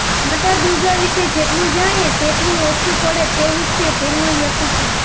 માતા દુર્ગા વિશે જેટલું જાણીએ તેટલું ઓછું પડે તેવું છે તેમનું વ્યક્તિત્વ